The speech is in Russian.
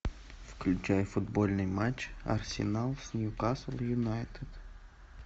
включай футбольный матч арсенал с ньюкасл юнайтед